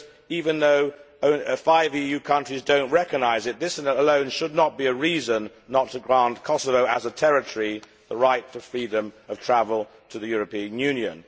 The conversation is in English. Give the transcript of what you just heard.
Even though five EU countries do not recognise it, this alone should not be a reason not to grant Kosovo as a territory the right to freedom of travel to the European Union.